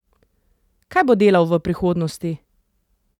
Kaj bo delal v prihodnosti?